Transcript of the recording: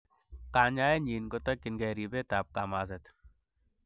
Kanyaenyin kotkyingei ribetab kamaset.